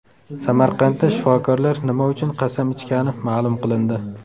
Samarqandda shifokorlar nima uchun qasam ichgani ma’lum qilindi.